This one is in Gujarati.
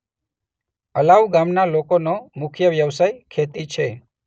અલાઉ ગામના લોકોનો મુખ્ય વ્યવસાય ખેતી છે.